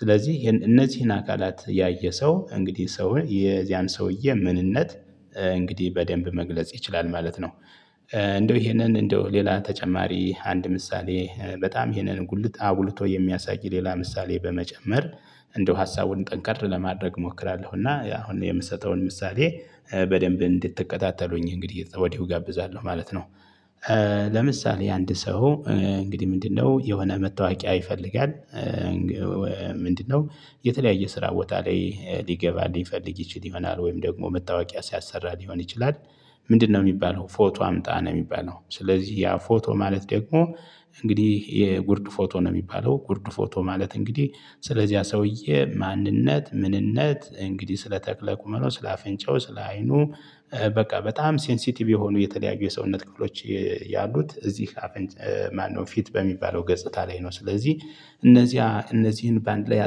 ስለዚህ እነዚህን አካላት ያየ ሰው እንግዲህ ሰውን ያን ሰውዬ ምንነት እንግዲህ በደንብ መግለጽ ይችላል ማለት ነው። እንደው ይሄንን እንደው ሌላ ተጨማሪ አንድ ምሳሌ በጣም ይሄንን ጉልት አጉልቶ የሚያሳይ ሌላ ምሳሌ በመጨመር። እንደው ሀሳቡን ጠንከር ለማድረግ እሞክራለሁ እና እኔ የምሰጠውን ምሳሌ በደንብ እንድትከታተሉኝ እንግዲህ ከወዲሁ እጋብዛለሁ ማለት ነው። ለምሳሌ አንድ ሰው እንግዲህ ምንድነው የሆነ መታወቂያ ይፈልጋል። ምንድነው? የተለያየ ስራ ቦታ ላይ ሊገባ ሊፈልግ ይችል ይሆናል ወይም ደግሞ መታወቂያ ሲያሰራ ሊሆን ይችላል። ምንድነው? የሚባለው ፎቶ አምጣ ነው የሚባለው ስለዚህ ያ ፎቶ ማለት ደግሞ እንግዲህ የጉርድ ፎቶ ነው የሚባለው። ጉርድ ፎቶ ማለት እንግዲህ ስለዚህ ያ ሰውዬ ማንነት ምንነት እንግዲህ ስለ ተክለ ቁመናው ስለ አፍንጫው ስለ አይኑ። በቃ በጣም ሴንሴቲቭ የሆኑ የተለያዩ የሰውነት ክፍሎች። ያሉት እዚህ። ማነው ፊት በሚባለው ገጽታ ላይ ነው። ስለዚህ እነዚህ እነዚህን በአንድ ላይ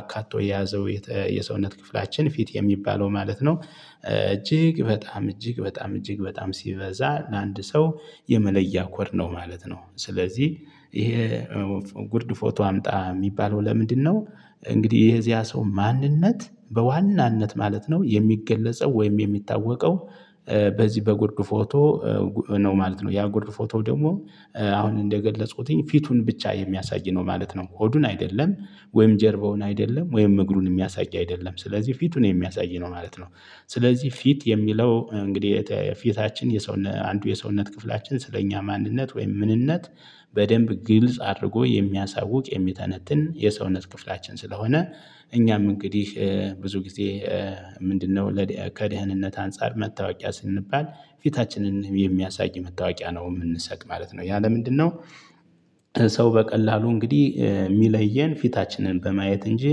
አካቶ የያዘው የሰውነት ክፍላችን ፊት የሚባለው ማለት ነው። እጅግ በጣም እጅግ በጣም እጅግ በጣም ሲበዛ ለአንድ ሰው የመለያ ኮድ ነው ማለት ነው። ስለዚህ ይሄ ጉርድ ፎቶ አምጣ የሚባለው ለምንድነው? እንግዲህ የዚያ ሰው ማንነት በዋናነት ማለት ነው የሚገለጸው ወይም የሚታወቀው። በዚህ በጉርድ ፎቶ። ነው ማለት ነው ያ ጉርድ ፎቶ ደግሞ አሁን እንደገለጽኩትኝ ፊቱን ብቻ የሚያሳይ ነው ማለት ነው። ሆዱን አይደለም። ወይም ጀርባውን አይደለም ወይም እግሩን የሚያሳይ አይደለም ስለዚህ ፊቱን የሚያሳይ ነው ማለት ነው። ስለዚህ ፊት የሚለው እንግዲህ ፊታችን የሰው አንዱ የሰውነት ክፍላችን ስለኛ ማንነት ወይም ምንነት። በደንብ ግልጽ አድርጎ የሚያሳውቅ የሚተነትን የሰውነት ክፍላችን ስለሆነ። እኛም እንግዲህ ብዙ ጊዜ። ምንድነው ከደህንነት አንፃር መታወቂያ ስንባል። ፊታችንን የሚያሳይ መታወቂያ ነው የምንሰጥ ማለት ነው ያ ለምንድነው? ሰው በቀላሉ እንግዲህ የሚለየን ፊታችንን በማየት እንጂ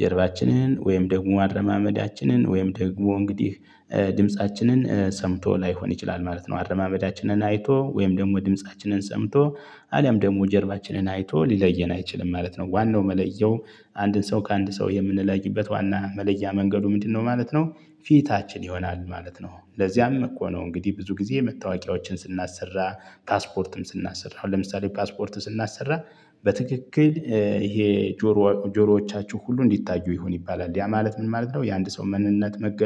ጀርባችንን ወይም ደግሞ አረማመዳችንን ወይም ደግሞ እንግዲህ ድምፃችንን ሰምቶ ላይሆን ይችላል ማለት ነው። አረማመዳችንን አይቶ ወይም ደግሞ ድምፃችንን ሰምቶ አሊያም ደግሞ ጀርባችንን አይቶ ሊለየን አይችልም ማለት ነው። ዋናው መለያው አንድን ሰው ከአንድ ሰው የምንለይበት ዋና መለያ መንገዱ ምንድነው ማለት ነው። ፊታችን ይሆናል ማለት ነው። ለዚያም እኮ ነው እንግዲህ ብዙ ጊዜ መታወቂያዎችን ስናሰራ። ፓስፖርትም ስናሰራ አሁን ለምሳሌ ፓስፖርት ስናሰራ። በትክክል ይሄ ጆሮ ጆሮዎቻችሁ ሁሉ እንዲታዩ ይሁን ይባላል ያ ማለት ምን ማለት ነው የአንድ ሰው ማንነት መገ